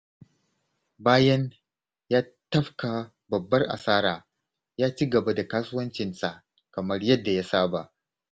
Bayan ya tafka babbar asara, ya ci gaba da kasuwancinsa kamar yadda ya saba.